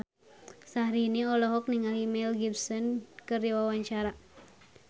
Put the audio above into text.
Syahrini olohok ningali Mel Gibson keur diwawancara